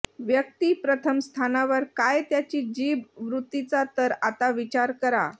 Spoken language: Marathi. व्यक्ती प्रथम स्थानावर काय त्याची जीभ वृत्तीचा तर आता विचार करा